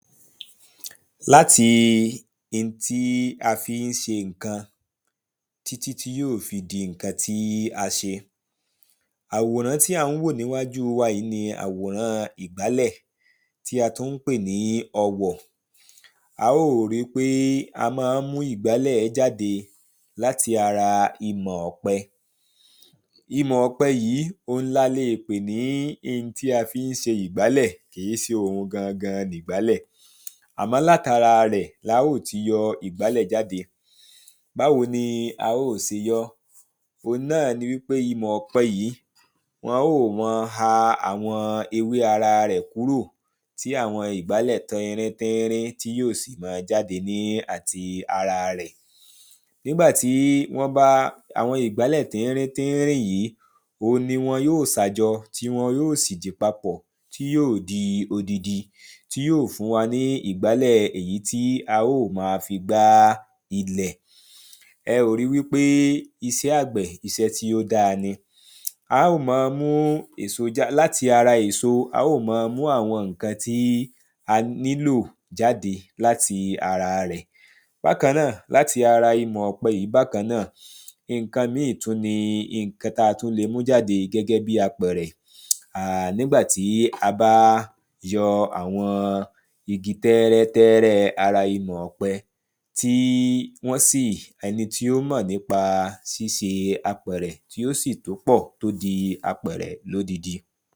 Láti ntí a fí ń se ǹkan tí tí tí yó fi di ǹkan tí a se. Àwòrán tí à ń wò níwájú wa yí ni àwòrán ìgbálẹ̀ tí a tún ń pè ní ọwọ̀. A ó ò ri pé a má ń mú ìgbálẹ̀ jáde lamti ara imọ̀ ọ̀pẹ. Imọ̀ ọ̀pẹ yí oun la leè pè ní ntí a fí ń se ìgbálẹ̀. Kì í se òun gangan nìgbálẹ̀. Àmó̩ látara rẹ̀ la óò ti yọ ìgbálẹ̀ jáde. Báwo ni a ó ò se yọ́. Ohun náà ni wípé imọ̀ ọ̀pẹ yí wọ́n man ha àwọn ewé ara rẹ̀ kúrò. Tí àwọn ìgbálẹ̀ tínrín tínrín tí yó sì man jáde ní àti ara rẹ̀. Nígbà tí wọ́n bá àwọn ìgbálẹ̀ tínrín tínrín yí òhun ni wọn ó sà jọtí wọn yó sìdi papọ̀ tí yóò di odidi. Tí yóò fún wa ní ìgbálẹ̀ èyí tí a ó ò ma fi gbá ilẹ̀. Ẹ ò ri wípé isẹ́ àgbẹ̀ isẹ́ tí ó dára ni. A ó ma mú èso já láti ara èso á ó ò man mú àwọn ǹkan tí a nílò jáde lamti ara rẹ̀. Bákanná-àn láti ara imọ̀ ọ̀pẹ yí bákanná-àn, nǹkan míì tún ni ǹǹkan táa tún le mú jáde gẹ́gẹ́ bíi àpẹ̀rẹ̀. um nígbà tí a bá yọ àwọn igi tẹ́rẹ́ tẹ́rẹ́ ara imọ̀ ọpẹ. Tí wọ́n sì ẹni tí ó mọ̀ nípa síse àpẹ̀rẹ̀ tí ó sì tó pọ̀ tó di apẹ̀rẹ̀ lódidi.